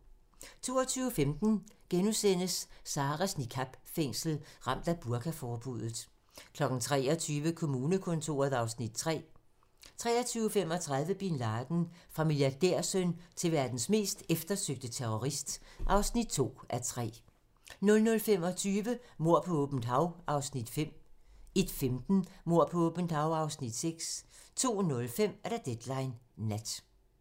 22:15: Sarahs niqab-fængsel - Ramt af burka-forbuddet * 23:00: Kommunekontoret (Afs. 3) 23:35: Bin Laden - Fra milliardærsøn til verdens mest eftersøgte terrorist (2:3) 00:25: Mord på åbent hav (Afs. 5) 01:15: Mord på åbent hav (Afs. 6) 02:05: Deadline nat